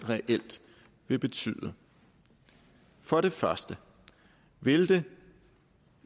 reelt ville betyde for det første ville det